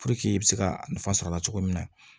i bɛ se ka nafa sɔrɔ a la cogo min na